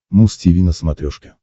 муз тиви на смотрешке